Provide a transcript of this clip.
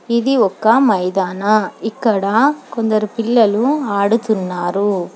ఇది ఒక్క మైదానా ఇక్కడ కొందరు పిల్లలు ఆడుతున్నారు.